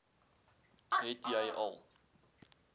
het jy al